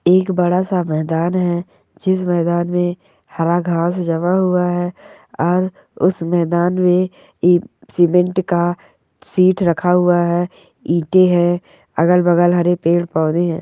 एक बड़ा सा मैदान है जिस मैदान में हरा घास जमा हुआ है और उस मैदान में ई सीमेंट का सीट रखा हुआ है ईंटें है अगल-बगल हरे पेड़-पौधे है।